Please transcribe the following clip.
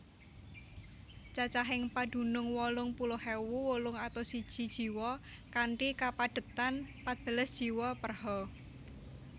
Cacahing padunung wolung puluh ewu wolung atus siji jiwa kanthi kapadhetan patbelas jiwa per ha